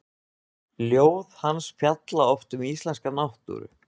Ljóð hans fjalla oft um íslenska náttúru.